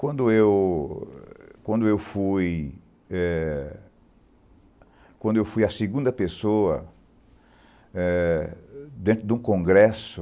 Quando eu quando eu fui eh quando eu fui a segunda pessoa eh dentro de um congresso,